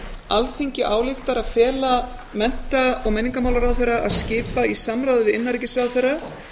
alþingi ályktar að fela mennta og menningarmálaráðherra að skipa í samráði við innanríkisráðherra